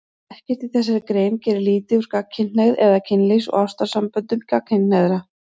Ekkert í þessari grein gerir lítið úr gagnkynhneigð eða kynlífs- og ástarsamböndum gagnkynhneigðra.